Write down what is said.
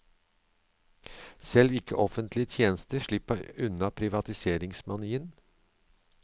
Selv ikke offentlige tjenester slipper unna privatiseringsmanien.